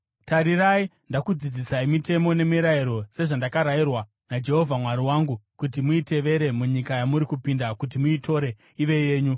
Tarirai, ndakudzidzisai mitemo nemirayiro sezvandakarayirwa naJehovha Mwari wangu, kuti muitevere munyika yamuri kupinda kuti muitore ive yenyu.